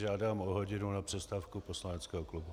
Žádám o hodinu na přestávku poslaneckého klubu.